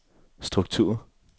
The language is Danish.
struktur